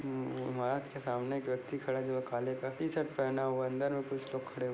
महत के सामने एक व्यक्ति खड़ा है जो काले टी-शर्ट पेहना हुआ है अंदर कुछ लोग खड़े--